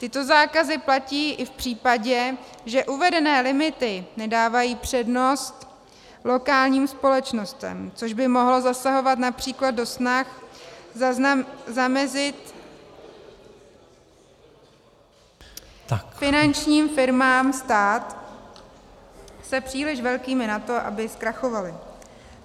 Tyto zákazy platí i v případě, že uvedené limity nedávají přednost lokálním společnostem, což by mohlo zasahovat například do snah zamezit finančním firmám stát se příliš velkými na to, aby zkrachovaly.